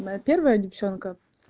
моя первая девчонка